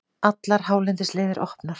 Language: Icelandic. Allar hálendisleiðir opnar